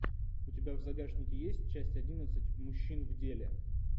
у тебя в загашнике есть часть одиннадцать мужчин в деле